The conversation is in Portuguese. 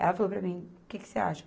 Ela falou para mim, que que você acha?